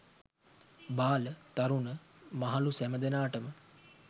බාල, තරුණ මහලු සැමදෙනාට ම